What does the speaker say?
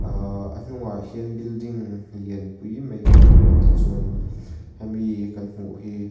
aahh a hnungah hian building lianpui mai kan hmu a tichuanin hemi kan hmuh hi--